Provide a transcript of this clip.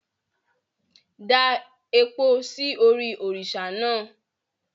Da epo sí orí òrìṣà náà!